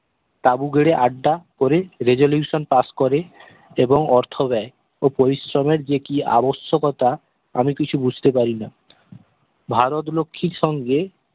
তাবু গেরে আড্ডা করে resolutionpass করে এবং অর্থ ব্যয় ও পরিশ্রমের যে কি আবশ্যকতা আমি কিছু বুঝতে পারিনা ভারত লক্ষ্মীর সঙ্গে